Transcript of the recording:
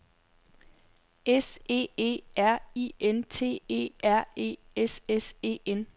S E E R I N T E R E S S E N